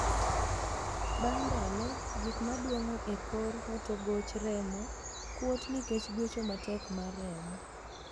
Bang' ndalo, gik moduong'o e kor hotogoch remo kuot nikech gwecho matek mar remo.